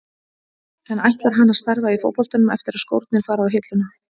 En ætlar hann að starfa í fótboltanum eftir að skórnir fara á hilluna?